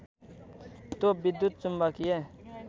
त्यो विद्युत चुम्बकीय